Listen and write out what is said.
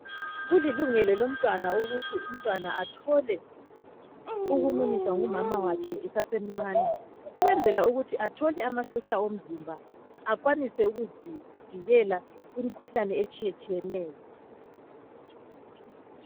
Kulilungelo lomtwana ukuthi , umntwana athole ukumunyiswa ngumama wakhe esasemcane ukwenzela ukuthi athole amasotsha omzimba akwanise ukuzivikela kwimkhuhlane etshiyeneyo